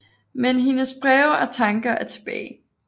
Men hendes breve og tanker er tilbage